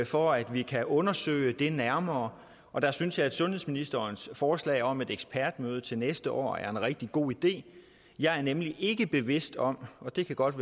for at vi kan undersøge det nærmere og der synes jeg at sundhedsministerens forslag om et ekspertmøde til næste år er en rigtig god idé jeg er nemlig ikke bevidst om og det kan godt